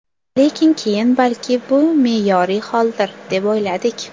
Lekin keyin balki bu me’yoriy holdir, deb o‘yladik.